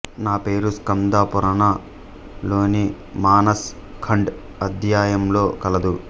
ఈ పేరు స్కాందపురాణ లోని మానస్ ఖండ్ అధ్యాయంలో కలదు